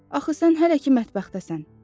Axı sən hələ ki mətbəxdəsən.